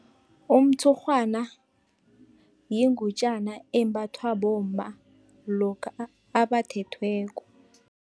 Umtshurhwana yingutjana embathwa bomma, lokha abathethweko.